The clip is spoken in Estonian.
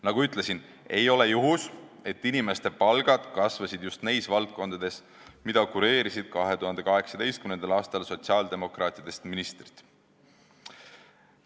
Nagu ma ütlesin, ei ole juhus, et inimeste palgad kasvasid just neis valdkondades, mida kureerisid 2018. aastal sotsiaaldemokraatidest ministrid.